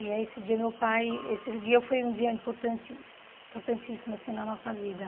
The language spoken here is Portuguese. E aí esse dia meu pai esse dia foi um dia importantís importantíssimo assim na nossa vida.